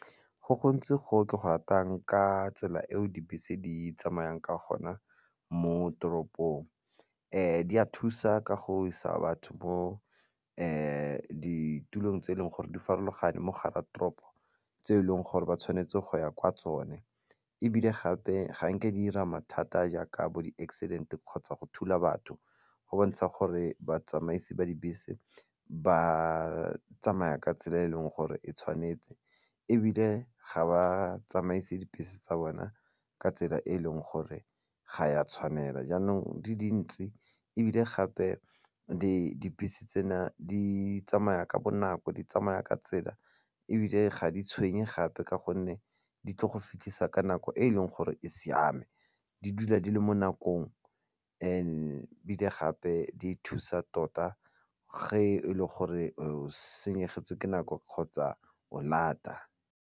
Go gontsi go ke go ratang ka tsela eo dibese di tsamayang ka gona mo toropong di a thusa ka go isa batho mo ditulong tse e leng gore di farologane mo gare toropo tse e leng gore ba tshwanetse go ya kwa go tsone ebile gape ga nke di 'ira mathata jaaka bo di-accident kgotsa go thula batho. Go bontsha gore batsamaisi ba dibese ba tsamaya ka tsela e e leng gore e tshwanetse ebile ga ba tsamaise dibese tsa bona ka tsela e e leng gore ga ya tshwanela jaanong di dintse ebile gape dibese tsena di tsamaya ka bonako, di tsamaya ka tsela ebile ga di tshwenye gape ka gonne di tlo go fitlhisa ka nako e e leng gore e siame di dula di le mo nakong ebile gape di thusa tota ge e le gore o senyegetswe ke nako kgotsa o lata.